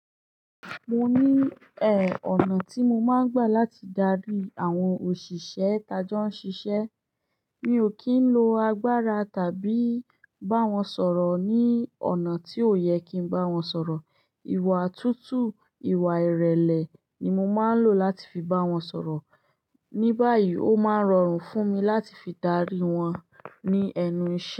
Mo ní, eh, ọ̀nà tí mo máa ń gbà láti darí àwọn òṣìṣẹ́ tajọ́ ń ṣiṣẹ́. Mi ò kí ń lo agbára tàbí bá wọn sọ̀rọ̀ ní ọ̀nà tí ò yẹ kí n bá wọn sọ̀rọ̀. Ìwà tútù, ìwà ìrẹ̀lẹ̀ ni mo máa ń lò láti fi bá wọn sọ̀rọ̀. Ní báyìí, ó máa ń rọrùn fún mi láti fi darí wọn ní ẹnu iṣẹ́.